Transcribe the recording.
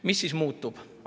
Mis siis muutub?